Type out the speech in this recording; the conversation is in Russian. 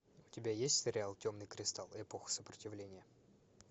у тебя есть сериал темный кристалл эпоха сопротивления